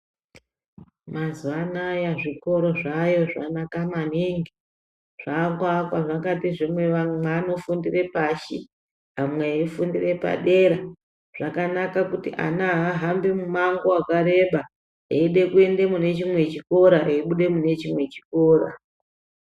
Mazuva anaya zvikora zvayo zvanaka maningi zvakuvakwa zvakati zvimwe vamwe vanofundira pashi amwe aifundira padera , zvakanaka kuti ana haahabhi mumhango wakareba eide kuenda mune chimwe chikora aibude mune chimwe chikora.